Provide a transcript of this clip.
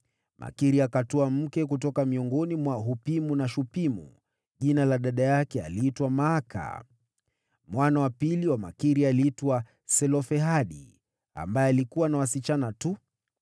Makiri akatwaa mke kutoka miongoni mwa Wahupimu na Washupimu. Jina la dada yake aliitwa Maaka. Mwana wa pili wa Makiri aliitwa Selofehadi, ambaye alikuwa na wasichana tu.